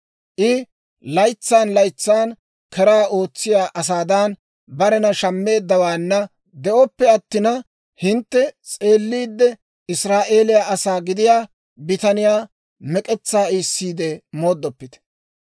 I laytsan laytsan keraa ootsiyaa asaadan barena shammeeddawaanna de'oppe attina, hintte s'eelliidde Israa'eeliyaa asaa gidiyaa bitaniyaa mek'etsaa iisiide mooddoppite.